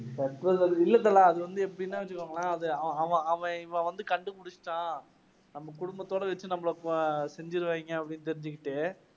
இல்ல தல. அது வந்து எப்படின்னா வெச்சுக்கோங்களேன் அது அவன் அவன் இவன் வந்து கண்டுபிடிச்சசுட்டான். நம்ம குடும்பத்தோட வெச்சு நம்மளை செஞ்சிடுவாங்க அப்பிடின்னு தெரிஞ்சுகிட்டே